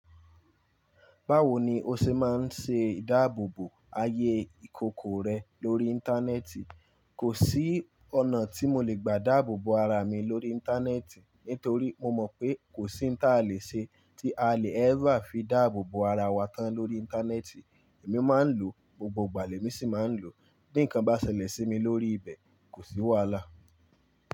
Báwo ni o ṣe máa ń ṣe idáàbòbo ayé ìkòkò rẹ lórí Íńtánẹ́ẹ̀tì? Kò sí ọ̀nà tí mo le gbà dáàbò bo ara mi lórí Íńtánẹ́ẹ̀tì, nítorí mo mọ̀ pé kò sí n ta lè ṣe tí a lè ever fi dáàbò bo ara wa tán lórí Íńtánẹ́ẹ̀tì. Èmi máa ń lò ó, gbogbo ìgbà lè mi sì máa ń lò ó. Bí nǹkan bá ṣẹlẹ̀ sí mi lórí ibẹ̀, kò sí wàhálà.